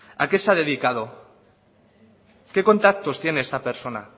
a qué se ha dedicado qué contactos tiene esta persona